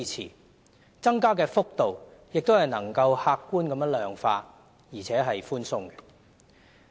再者，增加的幅度亦能夠客觀地量化，而且是寬鬆的。